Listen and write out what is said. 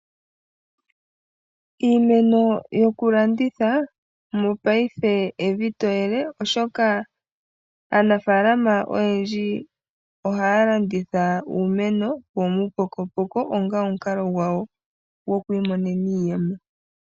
Iimeno yokulanditha mopaife evi to yele, oshoka aanafaalama oyendji ohaya landitha uumeno womuupokopoko onga omukalo gwawo gwoku imonena iiyemo.